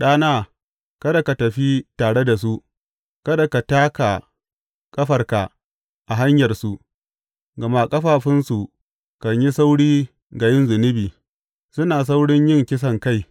ɗana, kada ka tafi tare da su, kada ka taka ƙafarka a hanyarsu; gama ƙafafunsu kan yi sauri ga yin zunubi, suna saurin yin kisankai.